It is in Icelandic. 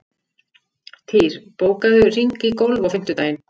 Týr, bókaðu hring í golf á fimmtudaginn.